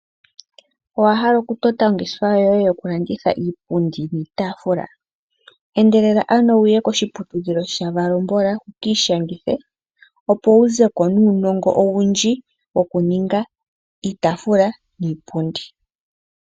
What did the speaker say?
Owahala okutota ongeshefa yoye yokulanditha iipundi niitaafula? Endelela ano uye koshiputudhilo shaValombola wuukiishangithe opo wu zeko nuunongo owundji wokuninga iitaafula niipundi.